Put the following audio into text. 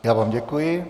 Já vám děkuji.